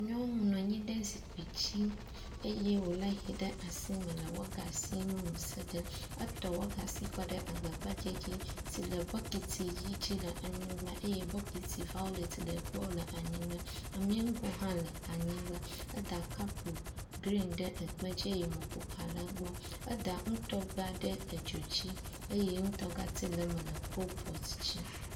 nyɔnu nɔnyi ɖe zikpi dzi eye wò le hɛ ɖe asime le wɔgasiwo me sege etɔ wɔgadi kɔɖe agba gbadzɛ dzi si le bɔkiti yi dzi le anyigbã eye bɔkiti vaolet le egbɔ le anyigbã amĩŋgo hã le anyigbã eda kap grin ɖe ekpe dzi wogale gbɔ eda ŋutɔgba ɖe edzodzi eye ŋutɔgati le me le kulpɔt dzi